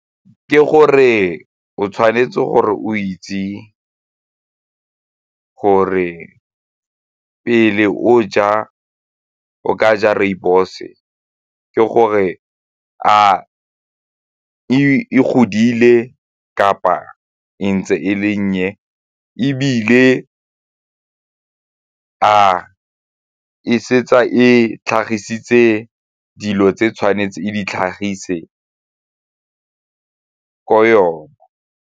Ke gore o tshwanetse gore o itse gore pele o ja, o ka ja rooibos, ke gore a e godile kapa e ntse e le nnye ebile a e setse e tlhagisitse dilo tse tshwanetse e di tlhagise ko yona.